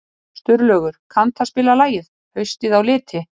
Sturlaugur, kanntu að spila lagið „Haustið á liti“?